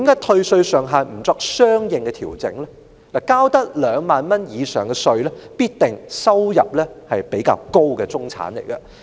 其實，需要繳交2萬元以上稅項的人，很可能是收入比較高的中產。